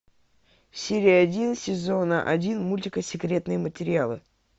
серия один сезона один мультика секретные материалы